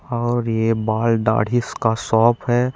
और ए बाल दाढ़ी स का शॉप हे।